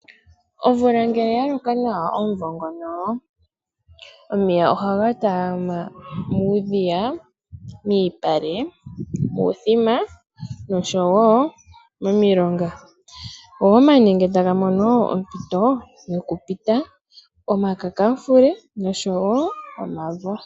Omvula ngele ya loka nawa omuvo ngono omeya ohaga talama muudhiya, miipale, muuthima noshowo momilongo, go omanenge, omakakamufule noshowo omavo taga mono ompito yokumena.